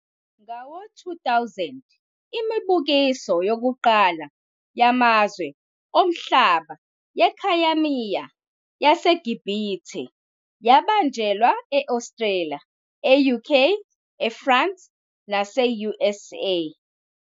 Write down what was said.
Ngawo-2000, imibukiso yokuqala yamazwe omhlaba yekhayamiya yaseGibhithe yabanjelwa e-Australia, e-UK, eFrance nase-USA.